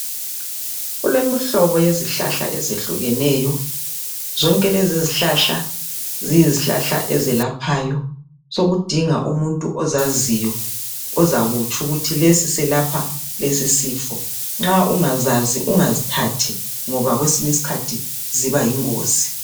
Kulemihlobo yezihlahla ezehlukeneyo. Zonke lezi izihlahla ziyizihlahla ezelaphayo, sekudinga umuntu ozaziyo ozakutsho ukuthi lesi selapha lesi sifo, nxa ungazazi ungazithathi ngoba kwesinye isikhathi ziba yingozi.